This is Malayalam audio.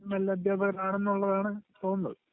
നല്ല അധ്യാപകർ ആണെന്നുള്ളതാണ് തോന്നുന്നത്.